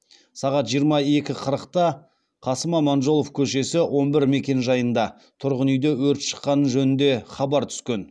сағат жиырма екі қырықта қасым аманжолов көшесі он бір мекенжайында тұрғын үйде өрт шыққаны жөнінде хабар түскен